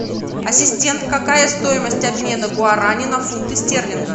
ассистент какая стоимость обмена гуарани на фунты стерлинга